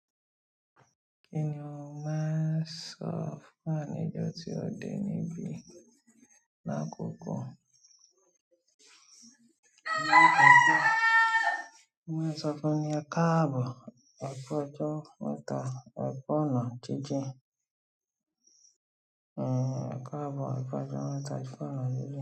Kí ni ó máa ń sọ fún wà ní jọ tí ò de níbí ní àkókò? Ó máa ń sọ fún un ní ẹ káàbọ̀, ẹ ku ọjọ́, mẹtà, ẹ ku ọ́nà jíjìn. Ẹ káàbọ̀, ẹ fẹ́jọ́, wẹtà, ẹ fọ́nà jíjìn.